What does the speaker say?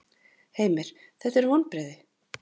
Heimir: Þetta eru vonbrigði?